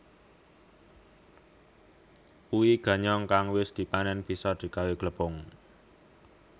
Uwi ganyong kang wis dipanén bisa digawé glepung